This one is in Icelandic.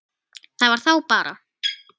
Það var þá bara